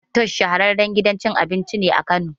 Fatoosh shahararren gidan cin abinci ne Kano